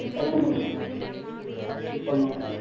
தகனம் பண்ணிட்டாங்க சுத்தமா